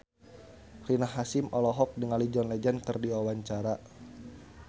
Rina Hasyim olohok ningali John Legend keur diwawancara